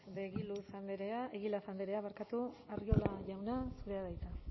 saez de egilaz andrea arriola jauna zurea da hitza